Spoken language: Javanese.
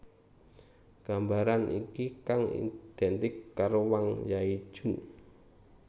Gambaran iki kang identik karo Wang Zhaojun